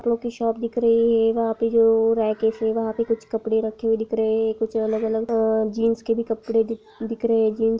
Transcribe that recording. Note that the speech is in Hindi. कपड़ों की शॉप दिख रही है वहां पे जो रैकस हैवहां पे कुछ कपड़े रखे हुए दिख रहे है कुछ अलग-अलग अ जीन्स के भी कपड़े दिख रहे हैजींस ---